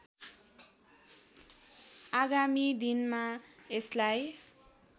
आगामी दिनमा यसलाई